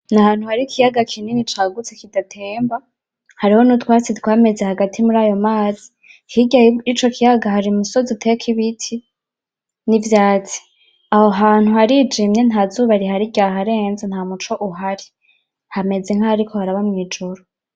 Nahantu harikiyaga kinini cagutse kidatemba hariho n'utwatsi twameze hagati murayo mazi hirya yico ciyaga hari imisozi utekibiti n'ivyatsi aho hantu harijimye ntazuba rihari ryaharenze ntamuco uhari hameze nkaho hariko haraba mwijoro.